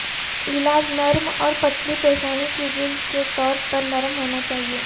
علاج نرم اور پتلی پیشانی کی جلد کے طور پر نرم ہونا چاہئے